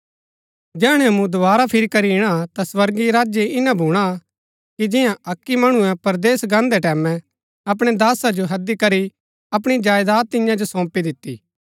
जैहणै मूँ दोवारा फिरी करी इणा ता स्वर्गीय राज्य ईना भूणा कि जियां अक्की मणुऐ परदेस गान्दै टैमैं अपणै दासा जो हैदी करी अपणी जायदात तियां जो सोंपी दिती